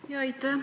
Aitäh!